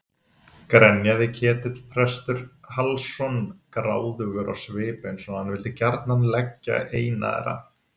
grenjaði Ketill prestur Hallsson gráðugur á svip eins og hann vildi gjarnan liggja eina þeirra.